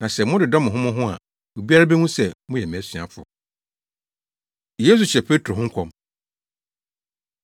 Na sɛ mododɔ mo ho mo ho a obiara behu sɛ moyɛ mʼasuafo.’ ” Yesu Hyɛ Petro Ho Nkɔm